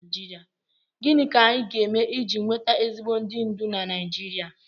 Gịnị ka anyị ga-eme iji nweta ezigbo ndị ndú na Naijiria?